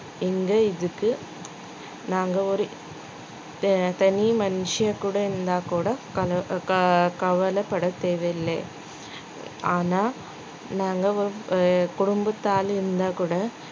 இங்க இதுக்கு நாங்க ஒரு த~ தனி மனுஷியா கூட இருந்தா கூட கவலை~ கவலைப்படத் தேவையில்லை ஆனா நாங்க குடும்பத்து ஆள் இருந்தா கூட